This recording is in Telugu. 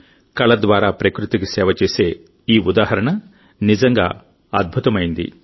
కళ ద్వారా ప్రకృతికి సేవ చేసే ఈ ఉదాహరణ నిజంగా అద్భుతమైంది